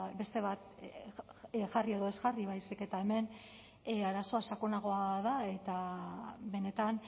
beste bat jarri edo ez jarri baizik eta hemen arazoa sakonagoa da eta benetan